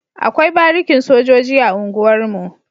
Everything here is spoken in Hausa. Akwai barikin sojoji a unguwar mu